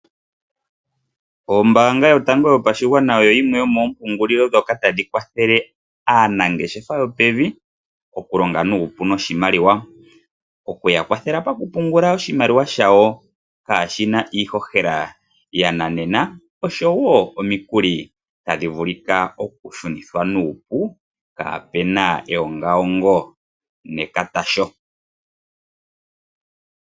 Ombanga yotango yopashigwana oyo yimwe yomo mpungulilo dhoka tadhi kwathele aanangeshefa yopevi oku longa nuupu noshimaliwa. Okuya kwathela pakupungula oshimaliwa shawo kaashina iihohela yananena oshowo omikuli tadhi vulika oku shunithwa nuupu kaape eyongayongo nekatasho.